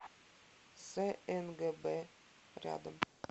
снгб рядом